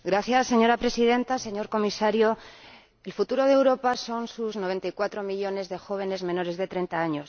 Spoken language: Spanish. Señora Presidenta, señor Comisario, el futuro de Europa son sus 94 millones de jóvenes menores de 30 años.